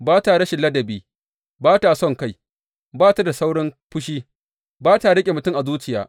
Ba ta rashin ladabi, ba ta sonkai, ba ta da saurin fushi, ba ta riƙe mutum a zuciya.